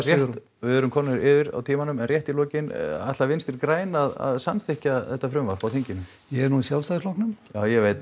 við erum komin yfir á tímanum en rétt í lokin ætla Vinstri græn að samþykkja þetta frumvarp á þinginu ég er nú í Sjálfstæðisflokknum já ég veit